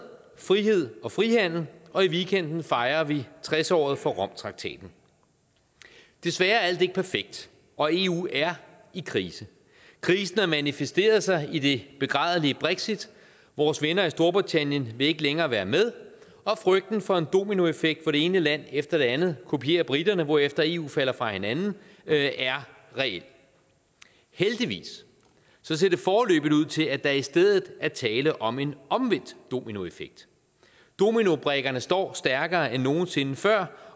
frihed og frihandel og i weekenden fejer vi tres året for romtraktaten desværre er alt ikke perfekt og eu er i krise krisen har manifesteret sig i det begrædelige brexit vores venner i storbritannien vil ikke længere være med og frygten for en dominoeffekt hvor det ene land efter det andet kopierer briterne hvorefter eu falder fra hinanden er reel heldigvis ser det foreløbig ud til at der i stedet er tale om en omvendt dominoeffekt dominobrikkerne står stærkere end nogen sinde før